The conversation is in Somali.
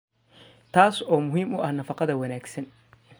taas oo muhiim u ah nafaqada wanaagsan.